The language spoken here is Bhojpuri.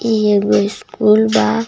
ई एगो स्कूल बा.